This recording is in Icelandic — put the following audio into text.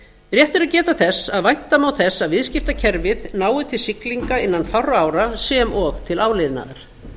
rétt er að geta þess að vænta má þess að viðskiptakerfið nái til siglinga innan fárra ára sem og til áliðnaðar